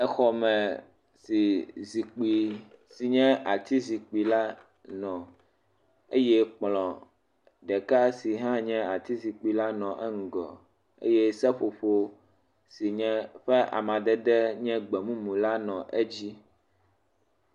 Exɔ me si zikpui sin ye ati zikpui la nɔ eye kplɔ ɖeka si hã nye ati zikpui la nɔ eŋgɔ eye seƒoƒo si nye ƒe amadede nye gbemumu la nɔ edzi.